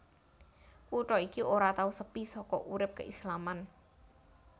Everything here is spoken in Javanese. Kutha iki ora tau sepi saka urip keislaman